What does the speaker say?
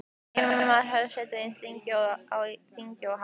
Enginn maður hefur setið eins lengi á þingi og hann.